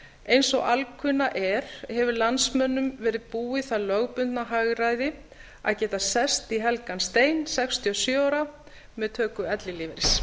eins og alkunna er hefur landsmönnum verið búið það lögbundna hagræði að geta sest í helgan stein sextíu og sjö ára með töku ellilífeyris